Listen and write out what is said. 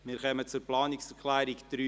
Wir kommen zu Planungserklärung 3.e.